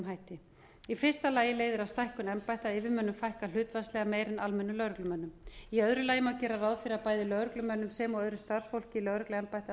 hætti í fyrsta lagi leiðir af stækkun embætta yfirmönnum fækkað hlutfallslega meira en almennum lögreglumönnum í öðru lagi má gera ráð fyrir að bæði lögreglumönnum sem og öðru starfsfólki lögregluembætta